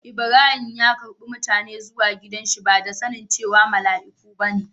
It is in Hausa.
lbrahim ya ƙarbe mutanen zuwa gidan shi ba da sani cewa malaiku ba ne.